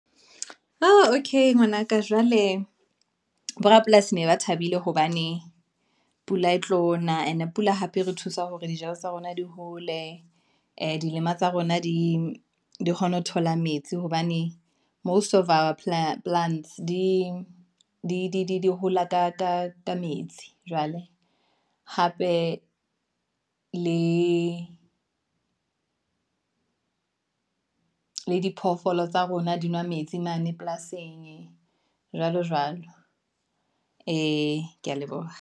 Okay ngwanaka jwale borapolasi ne ba thabile, hobane pula e tlo na, and pula hape re thusa hore dijalo tsa rona di hole, dilema tsa rona di kgone ho thola metsi, hobane most of our plants di hola ka metsi jwale, hape le diphoofolo tsa rona di nwa metsi mane polasing jwalo jwalo, ee, ke ya leboha.